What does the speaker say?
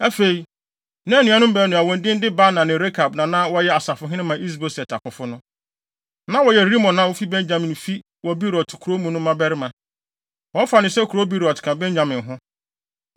Afei, na anuanom baanu a wɔn din de Baana ne Rekab na na wɔyɛ asafohene ma Is-Boset akofo no. Na wɔyɛ Rimon a ofi Benyamin fi wɔ Beerot kurow mu no mmabarima. Wɔfa no sɛ kurow Beerot ka Benyamin ho,